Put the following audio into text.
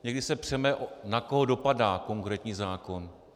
Někdy se přeme, na koho dopadá konkrétní zákon.